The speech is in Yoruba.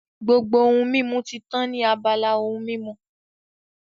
Gbogbo ohun mímu ti tán ní abala ohun mímu